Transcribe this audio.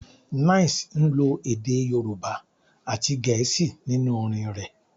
9ice ń lo èdè Yorùbá àti Gẹ̀ẹ́sì nínú orin rẹ̀